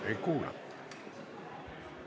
Ei kuule?